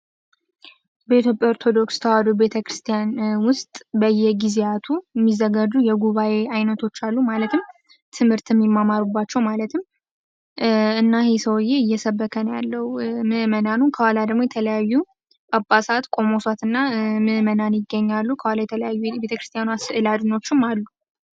በኢትዮጵያ ኦርቶዶክስ ተዋህዶ ቤተክርስትያን ውስጥ በየጊዜው የሚዘጋጁ የጉባኤ አይነቶች አሉ ማለትም ትምህርት የሚማማሩባቸው ማለት እና ይሄ ሰውዬ እየሰበከ ነው ያለው ምእመናኑን ከኋላ ደግሞ የተለያዩ ጳጳሳት መነኮሳት ቆመው ይገኛሉ ከኋላ የተለያዩ የቤተ ክርስቲያኗ ስዕል አድኖዎችም አሉ።